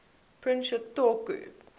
prince sh toku